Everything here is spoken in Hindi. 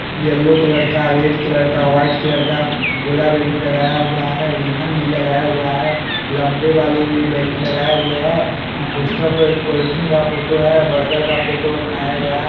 येलो कलर का रेड कलर का वाइट कलर का गोला बैलून लगाया हुआ है रिब्बन भी लगाया हुआ है लम्बे वाले भी बैलून लगाए हुए हैं यहाँ पोस्टर पे कोल्ड ड्रिंक का फोटो है बर्गर का फोटो बनाया गया है।